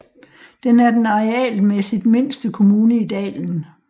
Den er den arealmæssigt mindste kommune i dalen